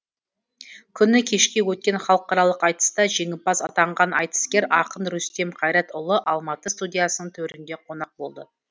күні кеше өткен халықаралық айтыста жеңімпаз атанған айтыскер ақын рүстем қайыртайұлы алматы студиясының төрінде қонақ болды